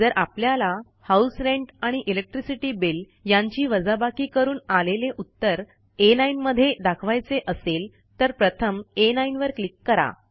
जर आपल्याला house rent आणि इलेक्ट्रिसिटी बिल यांची वजाबाकी करून आलेले उत्तर आ9 मध्ये दाखवायचे असेल तर प्रथम आ9 वर क्लिक करा